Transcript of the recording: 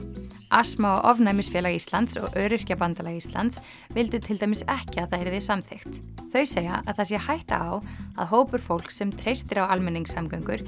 astma og ofnæmisfélag Íslands og Öryrkjabandalag Íslands vildu til dæmis ekki að það yrði samþykkt þau segja að það sé hætta á að hópur fólks sem treystir á almenningssamgöngur